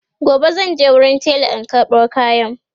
gobe zanje wurin tela in karɓo kayan